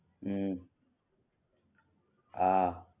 હુ હા